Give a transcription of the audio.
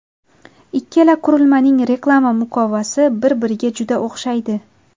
Ikkala qurilmaning reklama muqovasi bir-biriga juda o‘xshaydi.